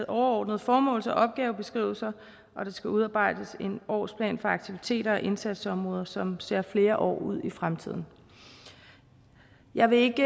overordnede formåls og opgavebeskrivelser og der skal udarbejdes en årsplan for aktiviteter og indsatsområder som ser flere år ud i fremtiden jeg vil ikke